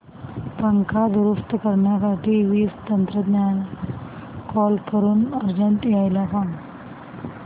पंखा दुरुस्त करण्यासाठी वीज तंत्रज्ञला कॉल करून अर्जंट यायला सांग